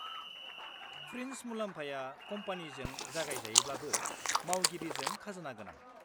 -Fringe मुलाम्फाया कम्पानीजों जगायजायोब्लाबो मावगिरिजों खाजोना गोनां।